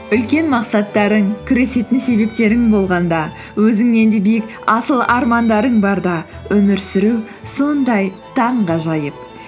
үлкен мақсаттарың күресетін себептерің болғанда өзіңнен де биік асыл армандарың барда өмір сүру сондай таңғажайып